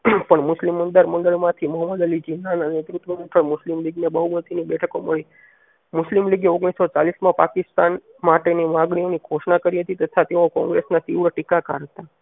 પણ મુસ્લિમ અંદર મંડળ માંથી મોહમ્મદ અલી ઝીણા ના નેતૃત્વ હેઠળ મુસ્લિમ બીજ ને બહુમતિ ની બેઠકો મળી મુસ્લિમ લીગે ઓગણીસો ચાલીસ માં પાકિસ્તાન માટેની માંગણીઓ ની ઘોસ્ન કરી હતી તથા તેઓ કોંગ્રેસ ના તીવ્ર ટીકા કાઢતા.